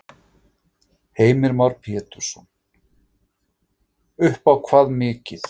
Heimir Már Pétursson: Upp á hvað mikið?